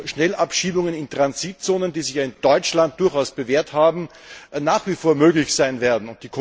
Schnellabschiebungen in Transitzonen, die sich ja in Deutschland durchaus bewährt haben, nach wie vor möglich sein werden.